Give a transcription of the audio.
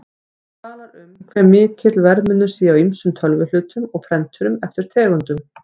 Hún talar um hve mikill verðmunur sé á ýmsum tölvuhlutum og prenturum eftir tegundum.